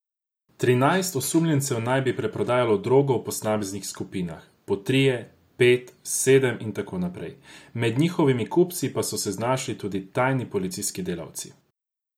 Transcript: Trinajst osumljencev naj bi preprodajalo drogo v posameznih skupinah, po trije, pet, sedem in tako naprej, med njihovimi kupci pa so se znašli tudi tajni policijski delavci.